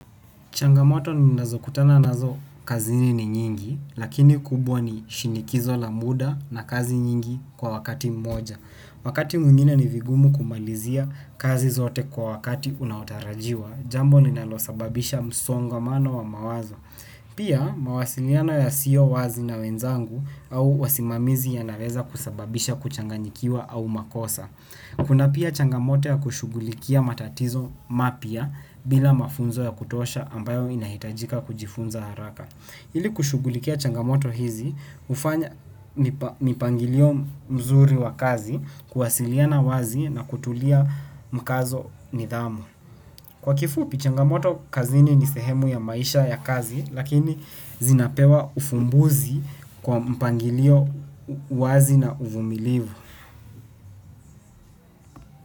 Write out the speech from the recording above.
Changamoto ninazo kutana nazo kazini ni nyingi, lakini kubwa ni, shinikizo la muda na kazi nyingi kwa wakati mmoja. Wakati mwingine ni vigumu kumalizia, kazi zote kwa wakati unaotarajiwa, jambo linalosababisha msongamano wa mawazo. Pia. Mawasiliano ya sio wazi na wenzangu au wasimamizi yanareza kusababisha kuchanganyikiwa au makosa. Kuna pia, changamoto ya kushughulikia matatizo mapya, bila mafunzo ya kutosha ambayo inahitajika kujifunza haraka. Ili kushughulikia changamoto hizi, hufanya mipangilio mzuri wa kazi, kuwasiliana wazi na kutulia mkazo ni dhamu. Kwa kifupi, changamoto kazini ni sehemu ya maisha ya kazi, lakini zinapewa ufumbuzi, kwa mpangilio wazi na uvumilivu.